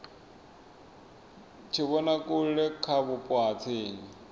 tshivhonakule kha vhupo ha tsini